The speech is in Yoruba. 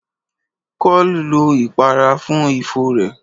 Kọ́l lọ ìpara fún ifo rẹ̀.